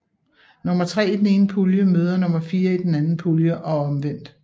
Nummer tre i den ene pulje møder nummer fire i den anden pulje og omvendt